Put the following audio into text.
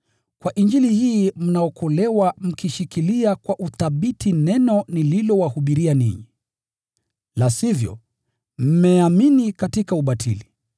Kwa Injili hii mnaokolewa mkishikilia kwa uthabiti neno nililowahubiria ninyi. La sivyo, mmeamini katika ubatili.